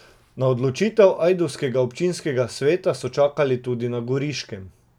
Na odločitev ajdovskega občinskega sveta so čakali tudi na Goriškem.